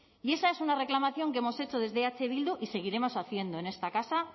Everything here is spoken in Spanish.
y esa es una reclamación que hemos hecho desde eh bildu y seguiremos haciendo en esta casa